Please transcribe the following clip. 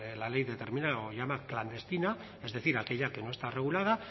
la ley determina o la llama clandestina es decir aquella que no está regulada